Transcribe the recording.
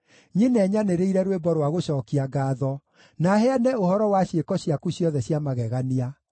nyine nyanĩrĩire rwĩmbo rwa gũcookia ngaatho, na heane ũhoro wa ciĩko ciaku ciothe cia magegania.